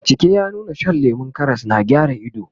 bincike ya nuna Shan lemun Karas na gyara ido